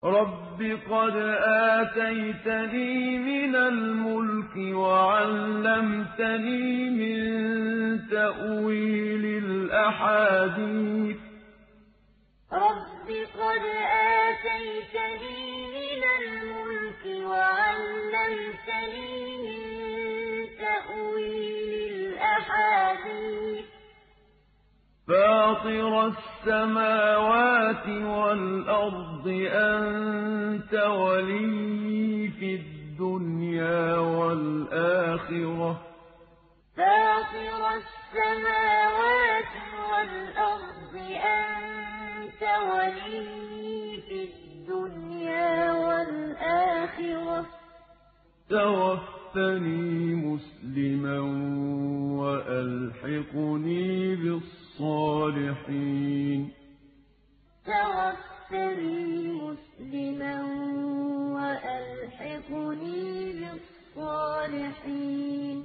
۞ رَبِّ قَدْ آتَيْتَنِي مِنَ الْمُلْكِ وَعَلَّمْتَنِي مِن تَأْوِيلِ الْأَحَادِيثِ ۚ فَاطِرَ السَّمَاوَاتِ وَالْأَرْضِ أَنتَ وَلِيِّي فِي الدُّنْيَا وَالْآخِرَةِ ۖ تَوَفَّنِي مُسْلِمًا وَأَلْحِقْنِي بِالصَّالِحِينَ ۞ رَبِّ قَدْ آتَيْتَنِي مِنَ الْمُلْكِ وَعَلَّمْتَنِي مِن تَأْوِيلِ الْأَحَادِيثِ ۚ فَاطِرَ السَّمَاوَاتِ وَالْأَرْضِ أَنتَ وَلِيِّي فِي الدُّنْيَا وَالْآخِرَةِ ۖ تَوَفَّنِي مُسْلِمًا وَأَلْحِقْنِي بِالصَّالِحِينَ